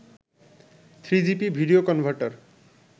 3gp video converter